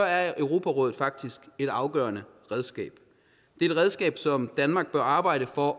er europarådet faktisk et afgørende redskab det er et redskab som danmark bør arbejde for